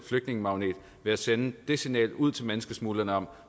flygtningemagnet ved at sende et signal ud til menneskesmuglerne om